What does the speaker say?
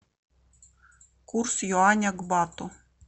курс юаня к бату